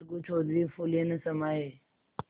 अलगू चौधरी फूले न समाये